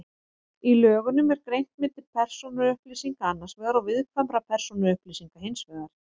Í lögunum er greint milli persónuupplýsinga annars vegar og viðkvæmra persónuupplýsinga hins vegar.